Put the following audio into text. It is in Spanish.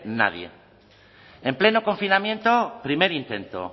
nadie en pleno confinamiento primer intento